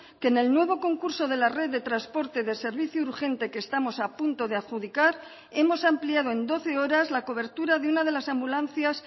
que en el nuevo concurso de la red de transporte de servicio urgente que estamos a punto de adjudicar hemos ampliado en doce horas la cobertura de una de las ambulancias